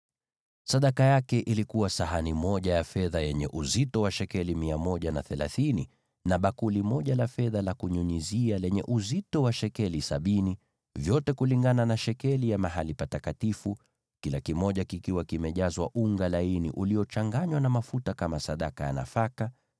Sadaka aliyoleta ilikuwa sahani moja ya fedha yenye uzito wa shekeli 130, na bakuli moja la fedha la kunyunyizia lenye uzito wa shekeli sabini, vyote kulingana na shekeli ya mahali patakatifu, vikiwa vimejazwa unga laini uliochanganywa na mafuta kama sadaka ya nafaka;